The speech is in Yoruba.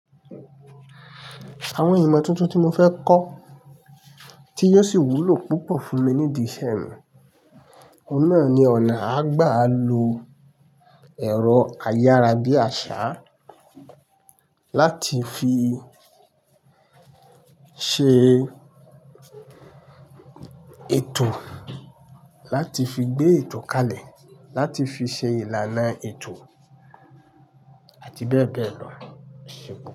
Àwọn ìmọ̀ tuntun tí mo fẹ́ kọ́, tí yóò sì wúlò púpọ̀ fún mi ní ìdí isẹ́ mii, oun nà ni ọ̀nà àgbà lo ẹ̀rọ ayára bí àsá láti fi ṣe ètò, láti fi gbé ètò kalẹ̀, láti fi ṣe ìlànà ètò àti bẹ́ẹ̀ bẹ́ẹ̀ lọ, ẹṣé púpọ̀